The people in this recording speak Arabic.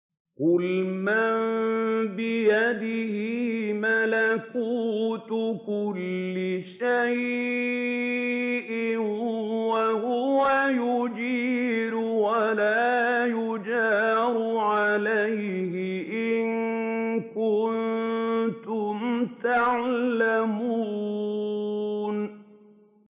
قُلْ مَن بِيَدِهِ مَلَكُوتُ كُلِّ شَيْءٍ وَهُوَ يُجِيرُ وَلَا يُجَارُ عَلَيْهِ إِن كُنتُمْ تَعْلَمُونَ